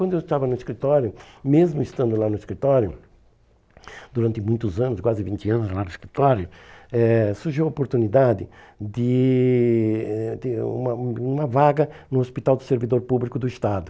Quando eu estava no escritório, mesmo estando lá no escritório, durante muitos anos, quase vinte anos lá no escritório, eh surgiu a oportunidade de eh de uma uma vaga no Hospital do Servidor Público do Estado.